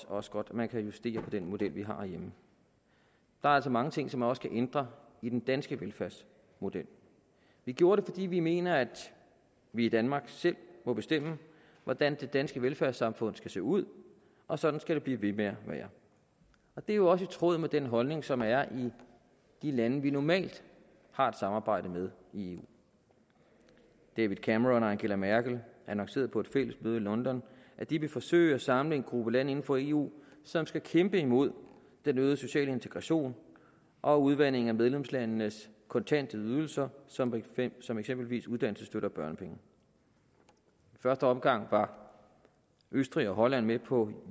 også godt at man kan justere den model vi har herhjemme der er altså mange ting som man også kan ændre i den danske velfærdsmodel vi gjorde det fordi vi mener at vi i danmark selv må bestemme hvordan det danske velfærdssamfund skal se ud og sådan skal det blive ved med at være det er jo også i tråd med den holdning som er i de lande vi normalt har et samarbejde med i eu david cameron og angela merkel annoncerede på et fælles møde i london at de vil forsøge at samle en gruppe lande inden for eu som skal kæmpe imod den øgede sociale integration og udvandingen af medlemslandenes kontante ydelser som som eksempelvis uddannelsesstøtte og børnepenge i første omgang var østrig og holland med på